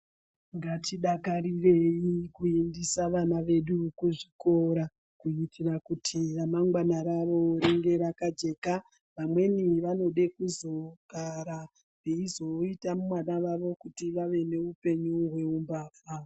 Ngatidakarireyi kuendisa vana vedu kuzvikora, kuitira kuti remangwana ravo ringe rakajeka. Vamweni vanode kuzogara, veizoita vana vavo kuti vave nehupenyu hweumbavha.